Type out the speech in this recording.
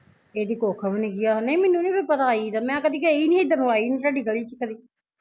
ਇਹਦੀ ਕੁੱਖ ਵੀ ਨੀ ਹੈਗੀ, ਨਹੀਂ ਮੈਨੂੰ ਨੀ ਪਤਾ ਸੀ ਆਈ ਦਾ ਮੈਂ ਕਦੀ ਗਈ ਨੀ ਹਿਦਰ ਨੂੰ ਆਈ ਨੀ ਤੁਹਾਡੀ ਗਲੀ ਚ ਕਦੀ